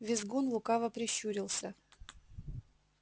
визгун лукаво прищурился